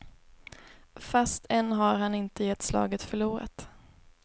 Fast än har han inte gett slaget förlorat.